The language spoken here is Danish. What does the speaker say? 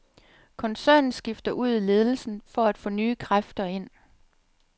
Koncernen skifter ud i ledelsen for at få nye kræfter ind.